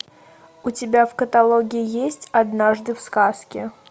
у тебя в каталоге есть однажды в сказке